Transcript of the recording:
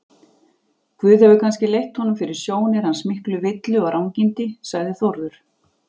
Guð hefur kannski leitt honum fyrir sjónir hans miklu villu og rangindi, sagði Þórður.